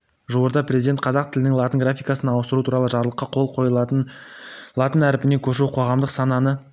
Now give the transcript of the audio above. жуырда президент қазақ тілінің латын графикасына ауыстыру туралы жарлыққа қол қойды латын әрпіне көшу қоғамдық сананы